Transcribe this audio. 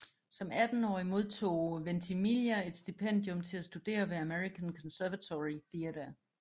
Som attenårig modtog Ventimiglia et stipendium til at studere ved American Conservatory Theater